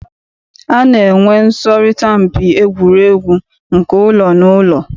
A na-enwe nsọrịta mpi egwuregwu nke ụlọ na ụlọ.